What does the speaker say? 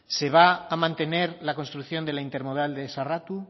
se va a mantener la construcción de la intermodal de sarratu